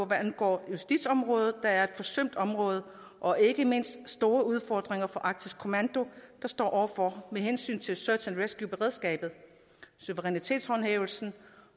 hvad angår justitsområdet der er et forsømt område og ikke mindst de store udfordringer arktisk kommando står over for med hensyn til search and rescue beredskabet suverænitetshåndhævelsen